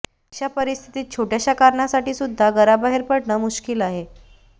अशा परिस्थितीत छोट्याशा कारणासाठी सुद्धा घराबाहेर पडणं मुश्किल आहे